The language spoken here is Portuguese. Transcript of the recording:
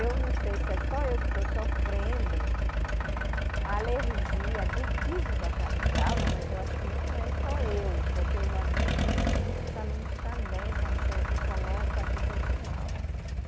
Eu não sei se é só eu que estou sofrendo a alergia do piso da sala de aula, mas eu acho que não é só eu, porque eu já vi que muitos alunos também, quando chegam aqui, começam a se sentir mal.